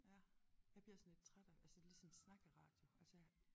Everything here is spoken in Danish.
Ja jeg bliver sådan lidt træt af det altså ligesom snakkeradio altså jeg